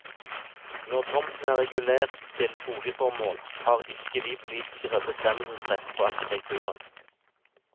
Når tomten er regulert til boligformål, har ikke vi politikere bestemmelsesrett på arkitekturen.